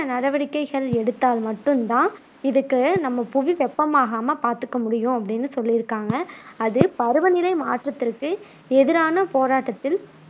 நடவடிக்கைகள் எடுத்தால் மட்டும் தான் இதுக்கு புவி வெப்பமாகாம பாத்துக்க முடியும் அப்படின்னு சொல்லியிருக்காங்க அது பருவநிலை மாற்றத்துக்கு எதிரான போராட்டத்தில்